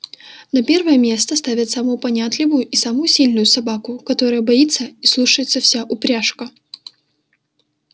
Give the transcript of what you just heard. на первое место ставят самую понятливую и самую сильную собаку которую боится и слушается вся упряжка